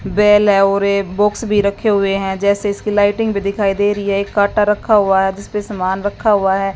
Bell और एक box भी रखे हुए हैं जैसे इसकी लाइटिंग भी दिखाई दे रही है एक कांटा रखा हुआ है जिसपे सामान रखा हुआ है।